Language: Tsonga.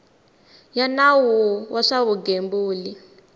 ya nawu wa swa vugembuli